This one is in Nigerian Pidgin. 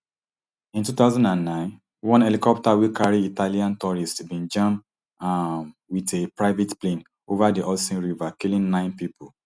in two thousand and nine one helicopter wey carry italian tourists bin jam um wit a private plane over di hudson river killing nine pipo